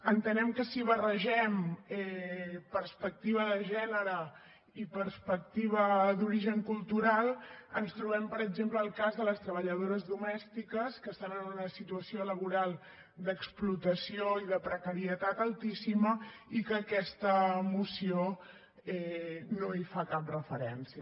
entenem que si barregem perspectiva de gènere i perspectiva d’origen cultural ens trobem per exemple el cas de les treballadores domèstiques que estan en una situació laboral d’explotació i de precarietat altíssima i que aquesta moció no hi fa cap referència